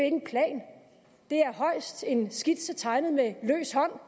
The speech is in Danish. en plan det er højst en skitse tegnet med løs hånd